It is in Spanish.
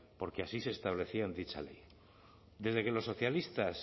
porque así se establecía en dicha ley desde que los socialistas